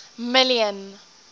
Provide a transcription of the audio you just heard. million